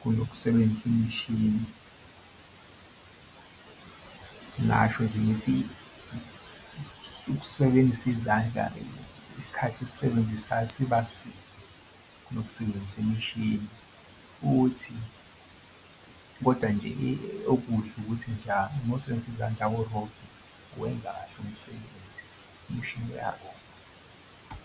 kunokusebenzisa imishini. Ngasho nje ngithi ukusebenzisa izandla, isikhathi esisebenzisayo sibaside kunokusebenzisa imishini futhi kodwa nje okuhle ukuthi nje uma usebenzisana izandla awurobhi uwenza kahle umsebenzi imishini iyarobha.